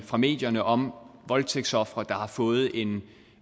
fra medierne om voldtægtsofre der har fået en